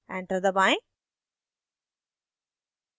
enter दबाएं